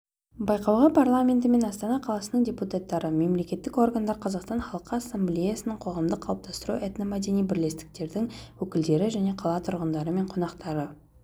байқауға парламенті мен астана қаласының депутаттары мемлекеттік органдар қазақстан халқы ассамблеясының қоғамдық қалыптастыру этномәдени бірлестіктердің өкілдері және қала тұрғындары мен қонақтары